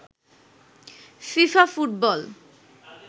FIFA football